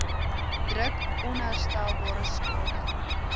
druk onherstelbare skade